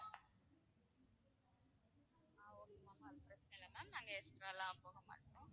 ஆஹ் okay ma'am நாங்க அதுக்கு மேலயெல்லாம் போக மாட்டோம்